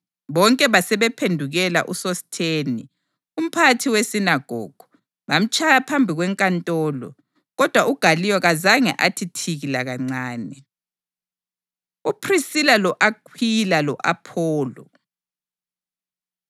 Bonke basebephendukela uSosithene, umphathi wesinagogu, bamtshaya phambi kwenkantolo. Kodwa uGaliyo kazange athi thiki lakancane. UPhrisila Lo-Akhwila Lo-Apholo